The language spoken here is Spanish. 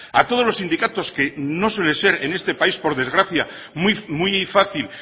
a todos los sindicatos que no suele ser en este país por desgracia muy fácil